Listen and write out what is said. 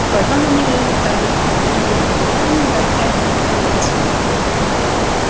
и притом на них женится обычно какой-нибудь доведённый до отчаяния вдовец